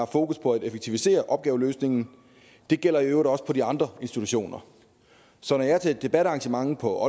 fokus på at effektivisere opgaveløsningen det gælder i øvrigt også på de andre institutioner så når jeg til et debatarrangement på